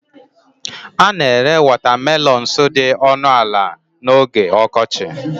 A na-ere watermelons dị ọnụ ala n'oge ọkọchị